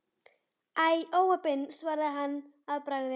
Æi, óheppin svaraði hann að bragði.